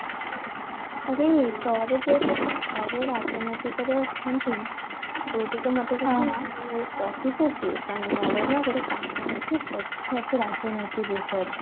ଆରେ ତୋର ଯୋଉ ତୋ କକା ଯୋଉ ରାଜନୈତିକ ରେ ଅଛନ୍ତି ତୁ ଟିକେ ମତେ ଯେ କହିବୁ କି କାରଣ ମୋର ନା ଗୋଟେ କାମ ଅଛି ବୁଝିବାର ଅଛି ରାଜନୈତିକ ବିଷୟରେ